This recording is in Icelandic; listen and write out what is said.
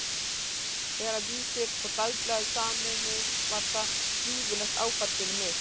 Þegar Vísir og Dagblaðið sameinuðust var það gífurlegt áfall fyrir mig.